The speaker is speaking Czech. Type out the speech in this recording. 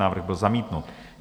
Návrh byl zamítnut.